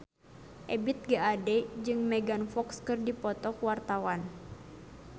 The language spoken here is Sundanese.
Ebith G. Ade jeung Megan Fox keur dipoto ku wartawan